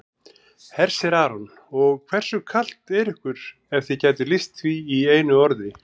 Hersir Aron: Og hversu kalt er ykkur ef þið gætuð lýst því í einu orði?